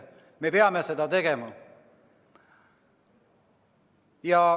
Me peame seda tegema.